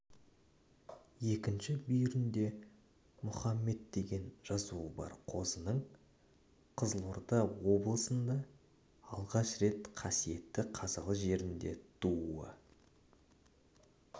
екінші бүйірінде мұхаммед деген жазуы бар қозының қызылорда облысында алғаш рет қасиетті қазалы жерінде тууы